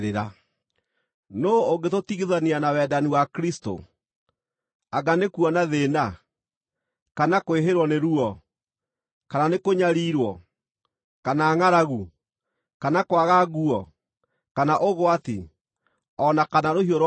Nũũ ũngĩtũtigithania na wendani wa Kristũ? Anga nĩ kuona thĩĩna, kana kwĩhĩrwo nĩ ruo, kana nĩkũnyariirwo, kana ngʼaragu, kana kwaga nguo, kana ũgwati, o na kana rũhiũ rwa njora?